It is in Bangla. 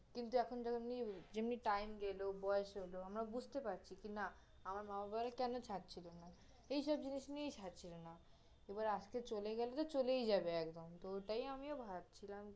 কিন্তু এখন যেমনি, যেমনি time গেলো, বয়স হল আমরা বুঝতে পারছি কিনা, আমার মা-বাবারা কেন ছাড়ছিল না, এইসব জিনিস নিয়েই ছাড়ছিল না, এবার আজকে চলে গেলে তহ চলেই যাবে একদম